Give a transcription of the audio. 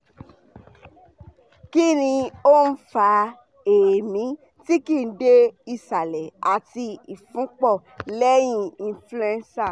kini o n fa eemi ti kii de isale ati ifunpo leyin influenza